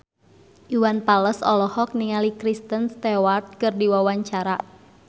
Iwan Fals olohok ningali Kristen Stewart keur diwawancara